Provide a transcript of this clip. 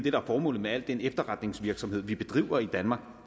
er formålet med al den efterretningsvirksomhed vi bedriver i danmark